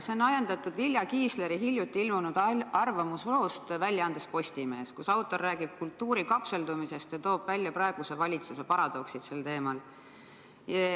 See on ajendatud Vilja Kiisleri hiljuti ilmunud arvamusloost väljaandes Postimees, kus autor räägib kultuuri kapseldumisest ja toob välja praeguse valitsuse paradoksid sel teemal.